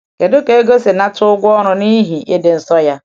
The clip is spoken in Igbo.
Kedu ka Égó si nata ụgwọ ọrụ n’ihi ịdị nsọ ya?